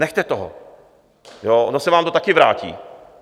Nechte toho, ono se vám to taky vrátí.